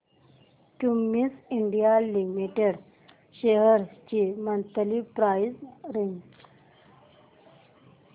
Cummins India limited shares ची monthly price range